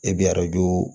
E bɛ arajo